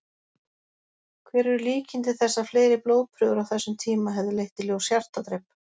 Hver eru líkindi þess að fleiri blóðprufur á þessum tíma hefðu leitt í ljós hjartadrep?